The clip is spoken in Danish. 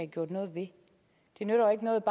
gjort noget ved det nytter jo ikke noget